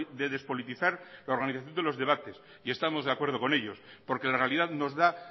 de despolitizar la organización de los debates y estamos de acuerdo con ello porque la realidad nos da